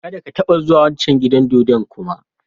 Kada ka taba zuwa wancan gidan dodo kuma!